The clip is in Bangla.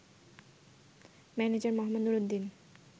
ম্যানেজার মোঃ নুরুদ্দিন